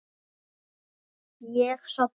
Ég sofna.